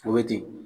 Forotigi